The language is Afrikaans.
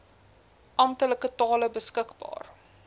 amptelike tale beskikbaar